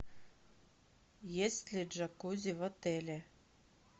есть ли джакузи в отеле